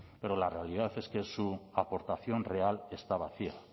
pero la realidad es que su aportación real está vacía